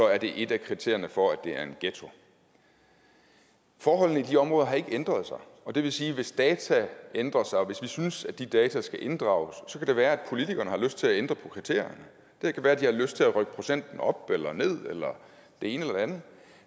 er det et af kriterierne for at det er en ghetto forholdene i de områder har ikke ændret sig og det vil sige at hvis data ændrer sig og hvis vi synes at de data skal inddrages så kan det være at politikerne har lyst til at ændre på kriterierne det kan være de har lyst til at rykke procenten op eller ned eller det ene eller andet